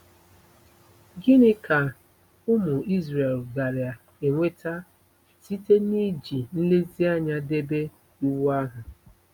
Gịnị ka ụmụ Izrel gaara enweta site n'iji nlezianya debe Iwu ahụ?